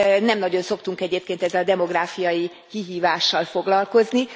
Nem nagyon szoktunk egyébként ezzel a demográfiai kihívással foglalkozni.